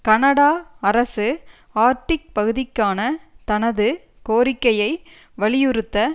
Canada அரசு Arctic பகுதிக்கான தனது கோரிக்கையை வலியுறுத்த